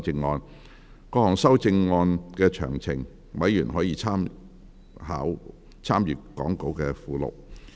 就各項修正案的詳情，委員可參閱講稿附錄。